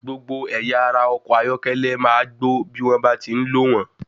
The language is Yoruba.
Gbogbo ẹ̀yà ara ọkọ̀ ayọ́kẹ́lẹ́ máa gbó bí wón bá ti ń lò wn.